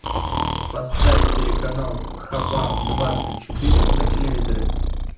поставь телеканал хабар двадцать четыре на телевизоре